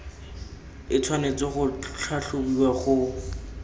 e tshwanetse go tlhatlhobiwa go